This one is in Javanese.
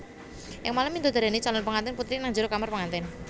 Ing malem midodareni calon pengantin putri nang jero kamar pengantin